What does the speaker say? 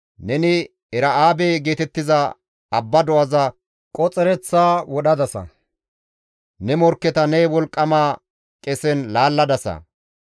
Neni Era7aabe geetettiza abba do7aza qoxereththa wodhadasa; ne morkketa ne wolqqama qesen laalladasa.